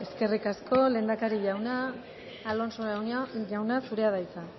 eskerrik asko lehendakari jauna alonso jauna zurea da hitza